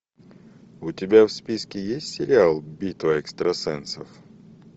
у тебя в списке есть сериал битва экстрасенсов